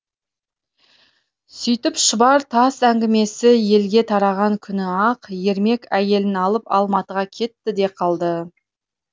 сөйтіп шұбар тас әңгімесі елге тараған күні ақ ермек әйелін алып алматыға кетті де қалды